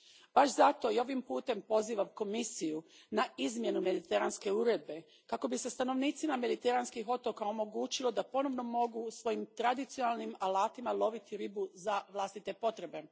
Baš zato i ovim putem pozivam Komisiju na izmjenu Mediteranske uredbe kako bi se stanovnicima mediteranskih otoka omogućilo da ponovno mogu svojim tradicionalnim alatima loviti ribu za vlastite potrebe.